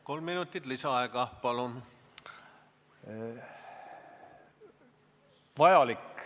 Kolm minutit lisaaega, palun!